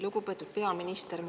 Lugupeetud peaminister!